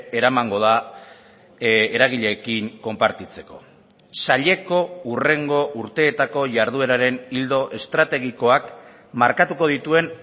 eramango da eragileekin konpartitzeko saileko hurrengo urteetako jardueraren ildo estrategikoak markatuko dituen